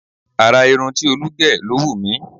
Àrà irun tí Olú gẹ̀ ló wù mí.